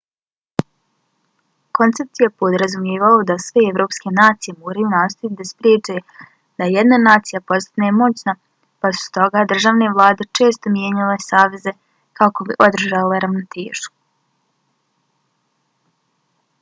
koncept je podrazumijevao da sve evropske nacije moraju nastojati da spriječe da jedna nacija postane moćna pa su stoga državne vlade često mijenjale saveze kako bi održale ravnotežu